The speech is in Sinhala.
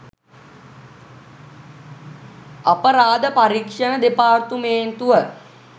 අපරාධ පරීක්‍ෂණ දෙපාර්තමේන්තුව